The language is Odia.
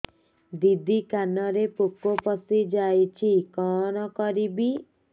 ଦିଦି କାନରେ ପୋକ ପଶିଯାଇଛି କଣ କରିଵି